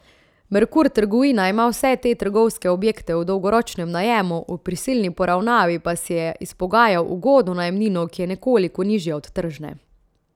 Merkur trgovina ima vse te trgovske objekte v dolgoročnem najemu, v prisilni poravnavi pa si je izpogajal ugodno najemnino, ki je nekoliko nižja od tržne.